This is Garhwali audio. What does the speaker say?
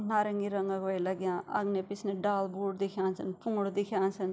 नारंगी रंग वे लग्याँ अगने पिछने डाल बोट दिख्येणा छन पुंगड़ा दिख्येणा छन।